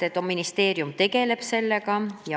Ministeerium tegeleb sellega.